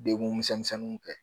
Degun misɛnninw kɛ